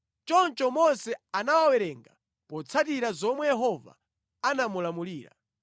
Choncho Mose anawawerenga potsatira zomwe Yehova anamulamulira.